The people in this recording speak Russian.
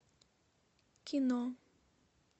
кино